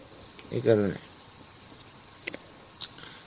এই কারণে